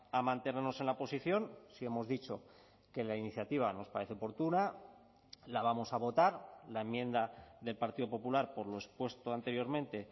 a mantenernos en la posición sí hemos dicho que la iniciativa nos parece oportuna la vamos a votar la enmienda del partido popular por lo expuesto anteriormente